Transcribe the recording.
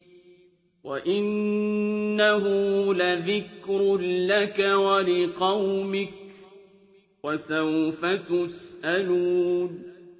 وَإِنَّهُ لَذِكْرٌ لَّكَ وَلِقَوْمِكَ ۖ وَسَوْفَ تُسْأَلُونَ